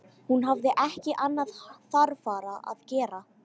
Hún hafði ekki annað þarfara að gera.